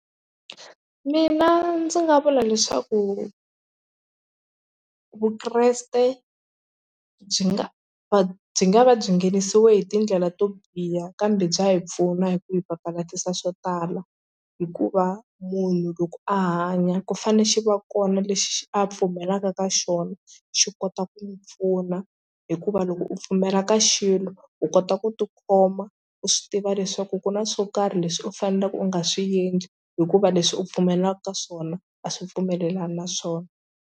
Mina ndzi nga vula leswaku vukreste byi nga va byi nga va byi nghenisiwe hi tindlela to biha kambe bya hi pfuna hi ku hi papalatisa swo tala hikuva munhu loko a hanya ku fane xi va kona lexi a pfumelaka ka xona xi kota ku n'wi pfuna hikuva loko u pfumela ka xilo u kota ku tikhoma u swi tiva leswaku ku na swo karhi leswi u faneleke u nga swi endli hikuva leswi u pfumelaka ka swona a swi pfumelelani na swona.